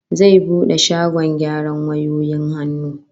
Zai bude shagkn gyaran wayoyin hannu